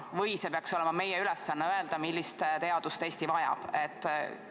Või peaks olema meie ülesanne öelda, millist teadust Eesti vajab?